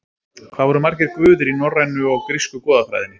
Hvað eru margir guðir í norrænu og grísku goðafræðinni?